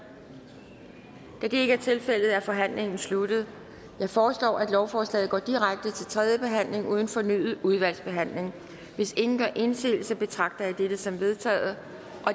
da det ikke er tilfældet er forhandlingen sluttet jeg foreslår at lovforslaget går direkte til tredje behandling uden fornyet udvalgsbehandling hvis ingen gør indsigelse betragter jeg dette som vedtaget